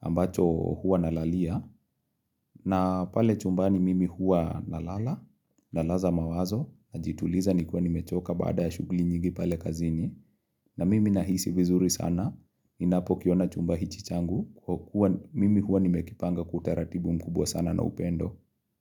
ambacho hua na lalia, na pale chumbani mimi hua na lala, na laza mawazo, na jituliza ni kiwa ni mechoka baada ya shuguli nyingi pale kazini, na mimi nahisi vizuri sana, ninapo kiona chumba hichichangu, mimi hua ni mekipanga kwautaratibu mkubwa sana na upendo.